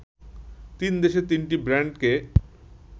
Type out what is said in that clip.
তিন দেশের তিনটি ব্যান্ডকে